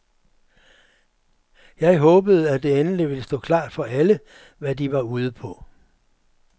Jeg håbede, at det endelig ville stå klart for alle, hvad de var ude på.